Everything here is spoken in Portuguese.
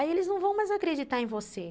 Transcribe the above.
Aí eles não vão mais acreditar em você.